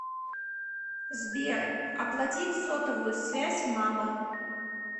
сбер оплатить сотовую связь мамы